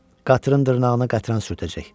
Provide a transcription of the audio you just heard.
Qatırın dırnağına qətran sürtəcək.